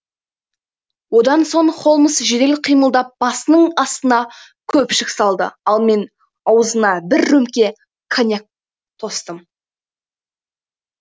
одан соң холмс жедел қимылдап басының астына көпшік салды ал мен аузына бір рөмке коньяк тостым